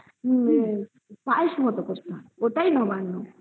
সেটা পায়েস এর মতন করে ওটাই নবান্ন